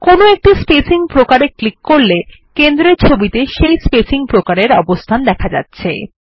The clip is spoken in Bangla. কোনো একটি স্পেসিং প্রকারে ক্লিক করলে কেন্দ্রের ছবিতে সেই স্পেসিং প্রকারের অবস্থান দেখা যাচ্ছে